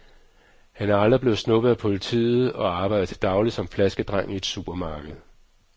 Han er aldrig blevet snuppet af politiet og arbejder til daglig som flaskedreng i et supermarked.